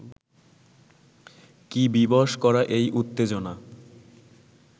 কী বিবশ করা এই উত্তেজনা